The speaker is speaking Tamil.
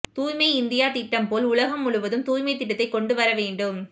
தூய்மை இந்தியா திட்டம் போல் உலகம் முழுவதும் தூய்மை திட்டத்தை கொண்டு வரவேண்டும்